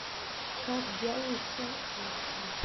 как делают салфетки